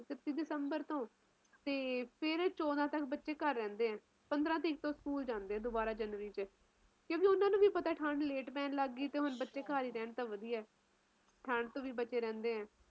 ਇੱਕਤੀ ਦਸੰਬਰ ਤੋਂ ਫਿਰ ਚੋਦਾਂ ਤਕ ਬੱਚੇ ਘਰ ਰਹਿੰਦੇ ਆ ਪੰਦਰਾਂ ਤਰੀਕ ਤੋਂ ਸਕੂਲ ਜਾਂਦੇ ਆ ਦੁਬਾਰਾ ਜਨਵਰੀ ਚ ਕਿਉਕਿ ਓਹਨਾ ਨੂੰ ਪਤਾ ਠੰਡ late ਪੈਣ ਲੱਗ ਪਈ ਤੇ ਹੁਣ ਬੱਚੇ ਘਰ ਹੀ ਰਹਿਣ ਤਾ ਵਧੀਆ ਠੰਡ ਤੋਂ ਵੀ ਬਚੇ ਰਹਿੰਦੇ ਆ